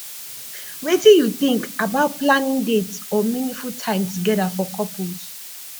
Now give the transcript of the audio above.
wetin you think about planning dates or meaningful time together for couples